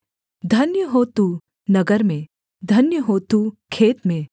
धन्य हो तू नगर में धन्य हो तू खेत में